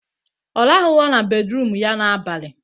Ọ rahụghọ na bedruum ya n'abalị